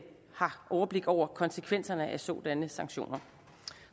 har overblik over konsekvenserne af sådanne sanktioner